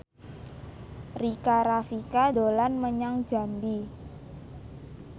Rika Rafika dolan menyang Jambi